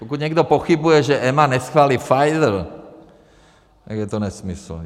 Pokud někdo pochybuje, že EMA neschválí Pfizer, tak je to nesmysl.